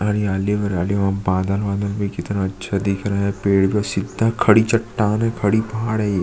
हरियाली वरयाली वहाँ बादल वादल भी कितना अच्छा दिख रहा है पेड़ भी सीधा खड़ी चट्टान है खड़ी पहाड़ है।